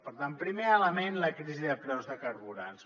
per tant primer element la crisi de preus de carburants